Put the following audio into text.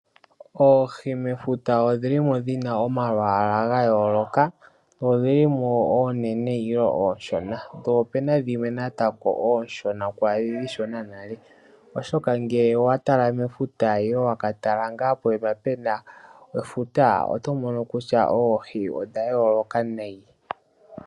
Oohi mefuta odhili mo dhina omalwaala ga yooloka. Odhili mo oonene nenge ooshona. Po opena dhimwe wo natango ooshona kwaadhi ooshona nale, oshoka ngele owa tala mefuta nenge waka tala ngaa poyima pena efuta, oto mono kutya oohi odha yooloka nayi.